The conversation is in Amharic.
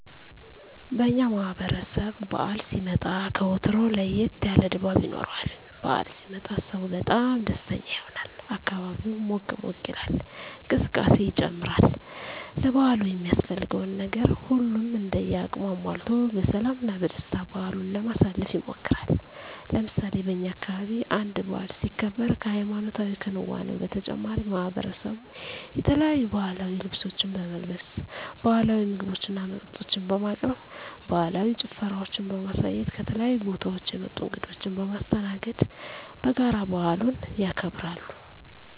በእኛ ማህበረሰብ በዓል ሲመጣ ከወትሮው ለየት ያለ ድባብ ይኖረዋል። በዓል ሲመጣ ሰው በጣም ደስተኛ ይሆናል፣ አካባቢው ሞቅ ሞቅ ይላል፣ እንቅስቃሴ ይጨምራል፣ ለበዓሉ የሚያስፈልገውን ነገር ሁሉም እንደ አቅሙ አሟልቶ በሰላም እና በደስታ በዓሉን ለማሳለፍ ይሞክራል። ለምሳሌ በእኛ አካባቢ አንድ በዓል ሲከበር ከሀይማኖታዊ ክንዋኔው በተጨማሪ ማሕበረሰቡ የተለያዩ ባህላዊ ልብሶችን በመልበስ፣ ባህላዊ ምግቦችና መጠጦችን በማቅረብ፣ ባህላዊ ጭፈራዎችን በማሳየት፣ ከተለያዩ ቦታወች የመጡ እንግዶችን በማስተናገድ በጋራ በዓሉን ያከብራሉ።